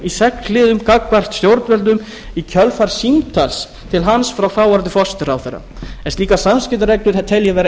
sex liðum gagnvart stjórnvöldum í kjölfar símtals til hans frá þáv forsætisráðherra en slíkar samskiptareglur tel ég vera